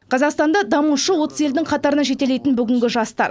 қазақстанды дамушы отыз елдің қатарына жетелейтін бүгінгі жастар